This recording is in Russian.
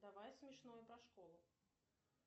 давай смешное про школу